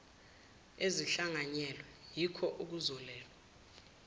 ezihlanganyelwe yiko okuzolawula